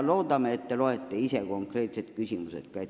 Loodetavasti te loete ise ka konkreetsed küsimused ette.